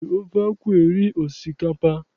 E ji ofe akwụ eri osikapa.